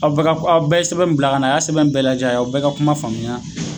Aw ka aw bɛɛ ye sɛbɛn bila kana a y'a sɛbɛn bɛɛ lajɛ, a y'aw bɛɛ ka kuma faamuya